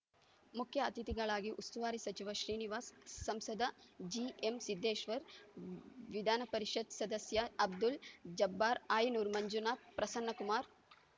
ಮುಖ್ಯ ಅತಿಥಿಗಳಾಗಿ ಉಸ್ತುವಾರಿ ಸಚಿವ ಶ್ರೀನಿವಾಸ್‌ ಸಂಸದ ಜಿಎಂ ಸಿದ್ದೇಶ್ವರ್‌ ವಿಧಾನ ಪರಿಷತ್ ಸದಸ್ಯ ಅಬ್ದುಲ್‌ ಜಬ್ಬಾರ್‌ ಆಯನೂರು ಮಂಜುನಾಥ್‌ ಪ್ರಸನ್ನಕುಮಾರ್‌